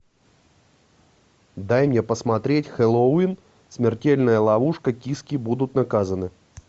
дай мне посмотреть хэллоуин смертельная ловушка киски будут наказаны